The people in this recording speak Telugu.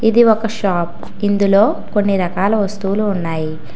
ఇది ఒక షాప్ ఇందులో కొన్ని రకాల వస్తువులు ఉన్నాయి.